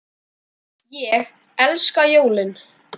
Ég elska jólin!